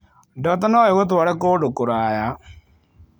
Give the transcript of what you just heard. Ndoto no igũtware kũndũ kũraya.